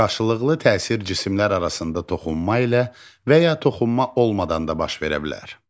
Qarşılıqlı təsir cisimlər arasında toxunma ilə və ya toxunma olmadan da baş verə bilər.